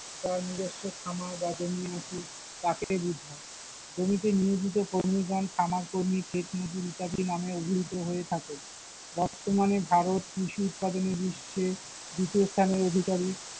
যার নিজস্ব খামার বা জমি আছে তাকে বোঝায়, জমিতে নিয়োজিত কর্মীগণ খামার কর্মী, ক্ষেতমজুর ইত্যাদি নামে অবিহিত হয়ে থাকে, বর্তমানে ভারত কৃষি উৎপাদনে বিশ্বে দ্বিতীয় স্থানের অধিকারি।